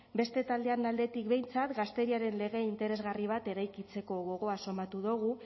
beste taldeen aldetik behintzat gazteriaren lege interesgarri bat eraikitzeko gogoa somatu dogu